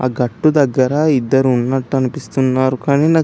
అ గట్టు దెగ్గర ఇద్దరు ఉన్నటు అనిపిస్తున్నారు కానీ నాకు --